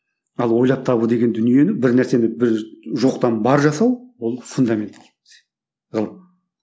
ал ойлап табу деген дүниені бір нәрсені бір жоқтан бар жасау ол фундаменті ғылым